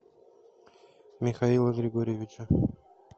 михаила григорьевича